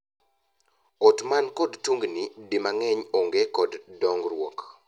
Ot man kod tungni di mang’eny onge kod dongruok.